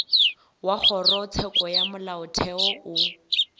wa kgorotsheko ya molaotheo o